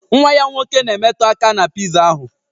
Nwa ya nwoke na-emetụ aka na piza ahụ